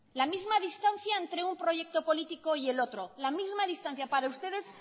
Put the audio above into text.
la misma distancia entre un proyecto político y el otro la misma distancia para ustedes